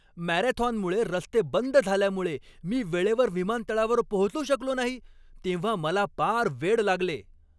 मॅरेथॉनमुळे रस्ते बंद झाल्यामुळे मी वेळेवर विमानतळावर पोहोचू शकलो नाही तेव्हा मला पार वेड लागले.